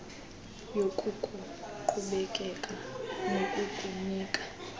yoku kukuqhubekeka nokukunika